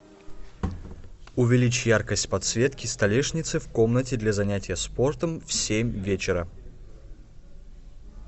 увеличь яркость подсветки столешницы в комнате для занятия спортом в семь вечера